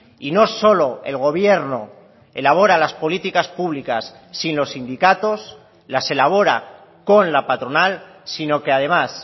y no solo el gobierno elabora las políticas públicas sin los sindicatos las elabora con la patronal sino que además